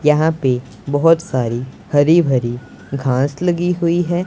यहां पे बहोत सारी हरी भरी घास लगी हुई है।